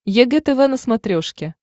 егэ тв на смотрешке